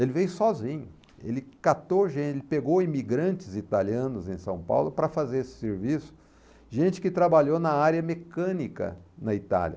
Ele veio sozinho, ele catou gen, pegou imigrantes italianos em São Paulo para fazer esse serviço, gente que trabalhou na área mecânica na Itália.